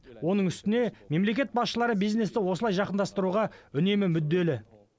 оның үстіне мемлекет басшылары бизнесті осылай жақындастыруға үнемі мүдделі